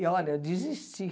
E olha, eu desisti.